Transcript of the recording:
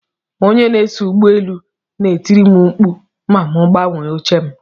Onye na-eso ụgbọ elu n'etiri m mkpu ma mu gbanwee oche m.